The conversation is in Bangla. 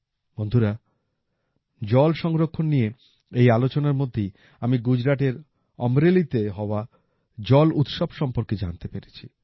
বন্ধুরা জল সংরক্ষণ নিয়ে এই আলোচনার মধ্যেই আমি গুজরাটের অমরেলিতে হওয়া জল উৎসব সম্পর্কে জানতে পেরেছি